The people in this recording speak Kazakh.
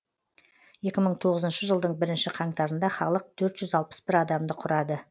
екі мың тоғызыншы жылдың бірінші қаңтарында халық төрт жүз алпыс бір адамды құрады